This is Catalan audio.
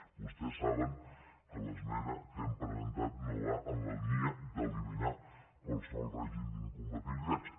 vostès saben que l’esmena que hem presentat no va en la línia d’eliminar qualsevol règim d’incompatibilitats